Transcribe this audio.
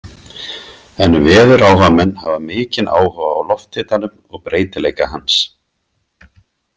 En veðuráhugamenn hafa mikinn áhuga á lofthitanum og breytileika hans.